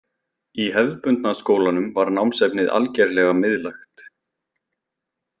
Í hefðbundna skólanum var námsefnið algerlega miðlægt.